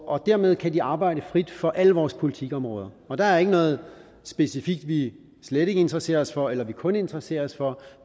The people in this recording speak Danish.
og dermed kan de arbejde frit for alle vores politikområder og der er ikke noget specifikt vi slet ikke interesserer os for eller kun interesserer os for